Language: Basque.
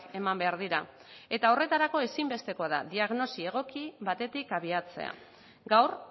eman behar dira horretarako ezinbestekoa da diagnosi egoki batetik abiatzea gaur